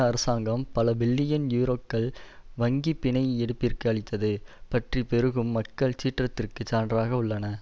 அரசாங்கம் பல பில்லியன் யூரோக்கள் வங்கிப் பிணை எடுப்பிற்கு அளித்தது பற்றி பெருகும் மக்கள் சீற்றத்திற்கு சான்றாக உள்ளன